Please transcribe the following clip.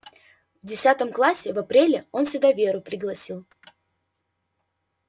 в десятом классе в апреле он сюда веру пригласил